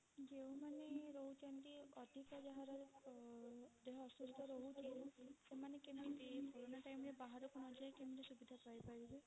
ଯେଉଁ ମାନେ ରହୁଛନ୍ତି ଅଧିକ ଯାହାର ଅ ଦେହ ଅସୁସ୍ଥ ରହୁଛି ସେମାନେ କେମିତି କୋରୋନ time ରେ ବାହାରକୁ ନଯାଇକି ସୁବିଧା ପାଇପାରିବେ?